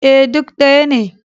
E, duk ɗaya ne.